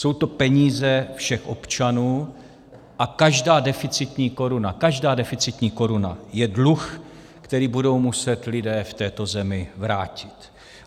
Jsou to peníze všech občanů a každá deficitní koruna, každá deficitní koruna je dluh, který budou muset lidé v této zemi vrátit.